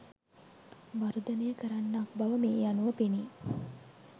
වර්ධනය කරන්නක් බව මේ අනුව පෙනේ.